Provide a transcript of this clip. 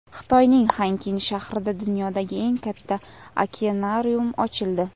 Xitoyning Xenkin shahrida dunyodagi eng katta okeanarium ochildi.